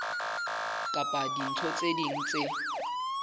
kapa dintho tse ding tse